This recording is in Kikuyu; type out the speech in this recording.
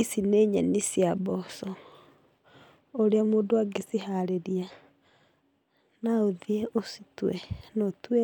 Ici nĩ nyeni cia mboco. ũrĩa mũndũ angĩciharĩria, naũthiĩ ũcitue, noũtue